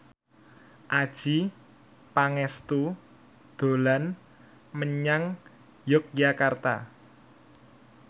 Adjie Pangestu dolan menyang Yogyakarta